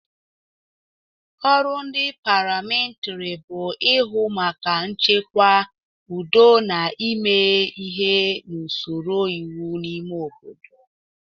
Ọrụ ndị paramilitiri bụ ịhụ maka nchekwa, udo na ime ihe n'usoro iwe n'ime obodo.